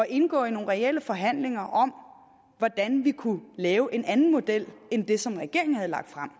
indgå i nogle reelle forhandlinger om hvordan vi kunne lave en anden model end den som regeringen havde lagt frem